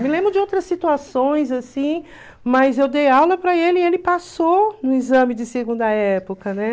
Me lembro de outras situações, assim, mas eu dei aula para ele e ele passou no exame de segunda época, né?